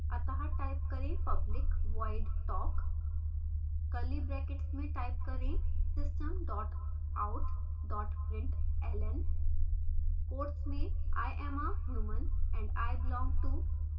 अत: type करें public void talk curly brackets में type करें system out println quotes में i am a human and i belong to